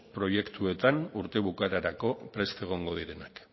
proiektuetan urte bukaerarako prest egongo direnak